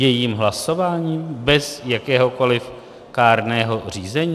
Jejím hlasováním, bez jakéhokoliv kárného řízení?